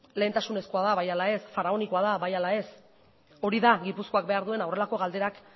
lehentasunezkoa da bai ala ez faraonikoa da bai ala ez hori da gipuzkoak behar duena horrelako galderak